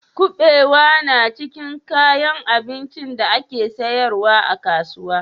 Kuɓewa na cikin kayan abincin da ake sayarwa a kasuwa?